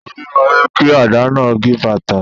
Omi máa jẹ́ kí àdá náà gípatà.